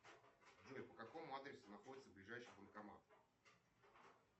джой по какому адресу находится ближайший банкомат